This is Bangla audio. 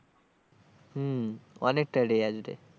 হম অনেকটা area জুড়ে।